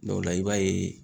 o la i b'a ye